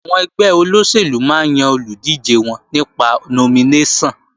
Àwọn ẹgbẹ́ olóṣèlú máa ń yan olùdíje wọn nípa nominéṣọ̀n